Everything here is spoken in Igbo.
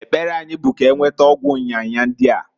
Ekpere anyi bu k'enweta ọgwụ nya nya ndia.